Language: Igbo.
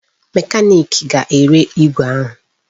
Mekaniki ga-ere igwe ahụ